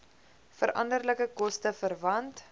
veranderlike koste verwant